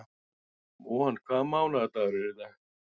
Von, hvaða mánaðardagur er í dag?